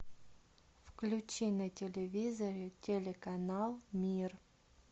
включи на телевизоре телеканал мир